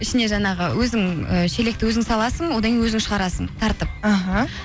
ішіне жаңағы өзің ы шелекті өзің саласың одан кейін өзің шығарасың тартып іхі